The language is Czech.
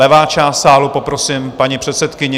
Levá část sálu, poprosím paní předsedkyni.